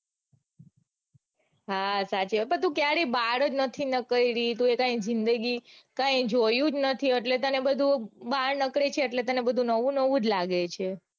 હા સાચે પણ તું ક્યારેય બાર જ નથી નીકળી તો એ તારી જિંદગી કાંઈ જોયું જ નથી એટલે તને બધું બાર નીકળે છે એટલે તને બધું નવું નવું જ લાગે છે.